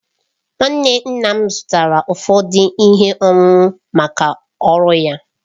Nwanne nna m zụtara ụfọdụ ihe owuwu maka ọrụ ya.